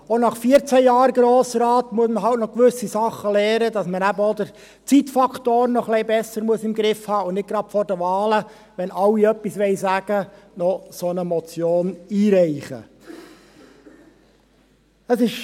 Auch nach vierzehn Jahren im Grossen Rat muss man halt noch gewisse Sachen lernen, auch, dass man den Zeitfaktor etwas besser im Griff haben muss und vor den Wahlen, wenn alle etwas sagen wollen, keine solche Motion einreichen sollte.